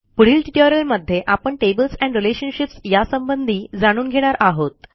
पुढील ट्युटोरियलमध्ये आपण टेबल्स एंड रिलेशनशिप्स यासंबंधी जाणून घेणार आहोत